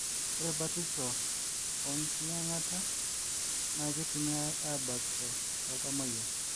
ore batisho oo enkiyiangata na keitumiaai abakisho tooltamoyia